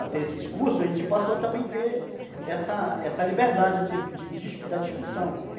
até esses cursos, a gente passou a também ter essa essa liberdade de de de da discussão.